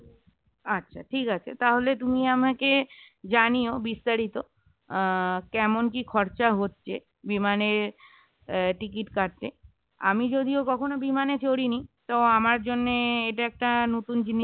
আচ্ছা ঠিক আছে, তাহলে তুমি আমাকে জানিও বিস্তারিত আহ কেমন কি খরচা হচ্ছে বিমানে আহ ticket কাটতে আমি যদিও কখনো বিমানে চড়িনি তো আমার জন্য এটা একটা নতুন জিনিস